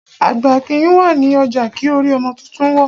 Àgbà kìí wà ní ọjà kí orí ọmọ tuntun wọ́.